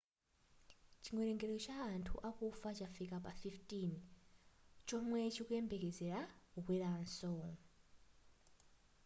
chiwelengero cha anthu akufa chafika pa 15 chomwe chikuyembekezera kukweranso